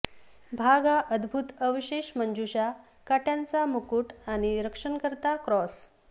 भाग हा अदभुत अवशेषमंजूषा काट्यांचा मुगुट आणि रक्षणकर्ता क्रॉस